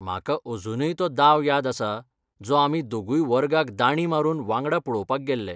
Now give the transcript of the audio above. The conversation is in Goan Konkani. म्हाका अजूनय तो दाव याद आसा जो आमी दोगुय वर्गाक दांडी मारून वांगडा पळोवपाक गेल्ले.